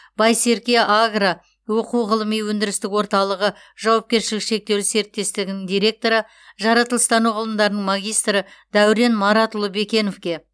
байсерке агро оқу ғылыми өндірістік орталығы жауапкершілігі шектеулі серіктестігінің директоры жаратылыстану ғылымдарының магистрі дәурен маратұлы бекеновке